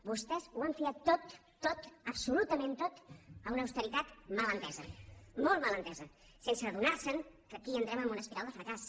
vostès ho han fiat tot tot absolutament tot a una austeritat mal entesa molt mal entesa sense adonar se que aquí entrem en una espiral de fracàs